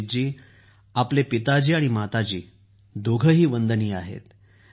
अभिजीत जी आपले आई आणि वडिल दोघेही वंदनीय आहेत